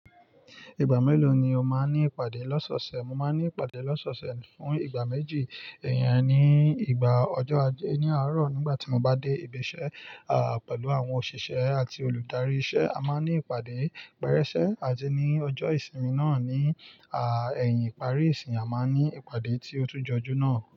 Ìgbà mélòó ni o máa ń ní ìpàdé lọ́sọ̀ọ̀sẹ̀? Mo máa ń ní ìpàdé lọ́sọ̀ọ̀sẹ̀ fún ìgbà méjì, iyen ní ìgbà ọjọ́ ajé ní àárọ̀ nígbà tí mo bá dé ibi iṣẹ́, pẹ̀lú àwọn òṣìṣẹ́ àti olùdarí iṣẹ́ a máa ń ní ìpàdé pérẹ́ṣẹ́ àti ní ọjọ́ ìsinmi náà ni ẹ̀yin ìparí ìsin a máa ń ní ìpàdé tí ó tún jọjú náà.